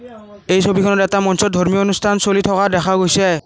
এই ছবিখনত এটা মঞ্চত ধৰ্মীয় অনুষ্ঠান চলি থকা দেখা গৈছে।